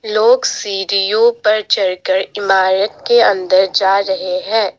लोग सीढ़ियों पर चढ़कर इमारत के अंदर जा रहे हैं।